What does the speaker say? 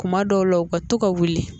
Kuma dɔw la u ka to ka wuli